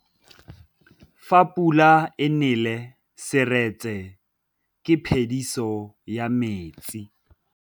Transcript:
Fa pula e nelê serêtsê ke phêdisô ya metsi.